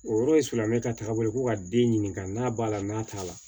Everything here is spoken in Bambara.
O yɔrɔ silamɛ ka taga bolo ko ka den ɲininka n'a b'a la n'a t'a la